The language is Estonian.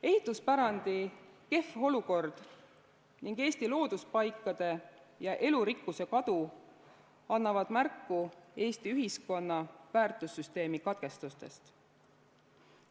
Ehituspärandi kehv olukord ning Eesti looduspaikade ja elurikkuse kadu annavad märku Eesti ühiskonna väärtussüsteemi katkestustest.